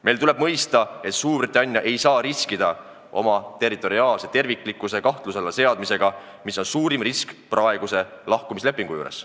Meil tuleb mõista, et Suurbritannia ei saa riskida oma territoriaalse terviklikkuse kahtluse alla seadmisega, mis on suurim risk praeguse lahkumislepingu juures.